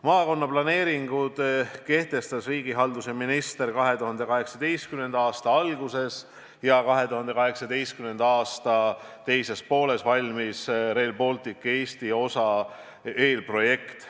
Maakonnaplaneeringud kehtestas riigihalduse minister 2018. aasta alguses ja sama aasta teises pooles valmis Rail Balticu Eesti osa eelprojekt.